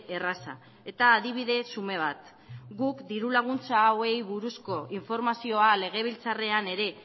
erraza eta adibide xume bat guk diru laguntza hauei buruzko informazioa legebiltzarrean ere